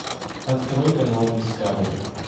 открой канал дискавери